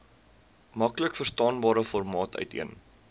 maklikverstaanbare formaat uiteen